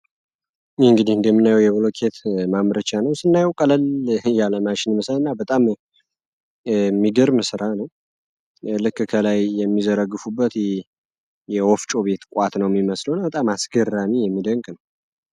ይህ እንግዲ እንደምናዩ የብሎኬት ማምረቻ ነው ስናየው ቀለል እያለማሽን የምስረ እና በጣም የሚግር ምስራ ነው የእልክከላይ የሚዘረግፉበት የወፍጮ ቤት ቋት ነው የሚመስሉ እና በጣም አስገራኒ የሚደንቅ ነው።